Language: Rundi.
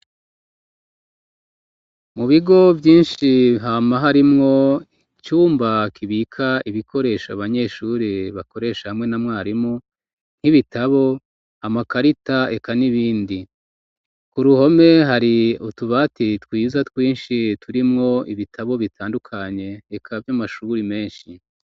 Mu bigo vyinshi hamaho arimwo icumbakibika ibikoresha abanyeshuri bakoresha hamwe na mwarimu nk'ibitabo amakarita eka n'ibindi ku ruhome hari utubati twiza twinshi turimwo ibitabo bitandukanye kavyo amashuburi menshi.